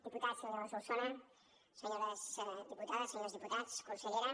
diputat senyor solsona senyores diputades senyors diputats consellera